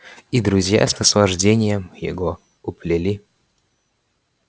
и друзья с наслаждением его уплели